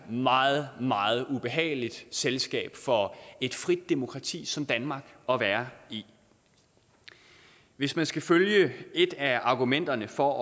meget meget ubehageligt selskab for et frit demokrati som danmark at være i hvis man skal følge et af argumenterne for